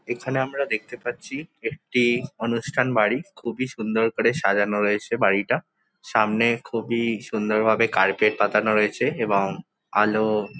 এখানে আমরা দেখতে পাচ্ছি একটি অনুষ্ঠান বাড়ি খুবই সুন্দর করে সাজানো রয়েছে বাড়িটা সামনে খুবই সুন্দর ভাবে কার্পেট পাতানো রয়েছে এবং আলো।